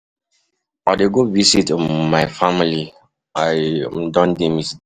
I dey go visit um my family, I um dey miss dem.